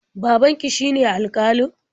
Babanki shine alƙalin?